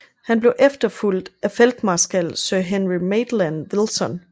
Han blev efterfulgt af Feltmarskal Sir Henry Maitland Wilson